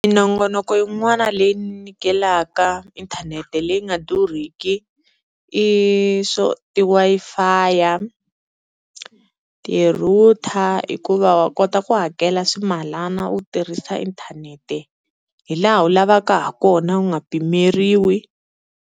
Minongonoko yin'wana leyi nyikelaka inthanete leyi nga durhiki i swo ti-Wi-Fi, ti-router hikuva wa kota ku hakela swimalana u tirhisa inthanete hi laha u lavaka ha kona u nga pimeriwi.